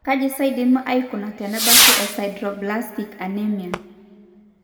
kaji sa eidimi aikuna tenebaki eSideroblastic anemia?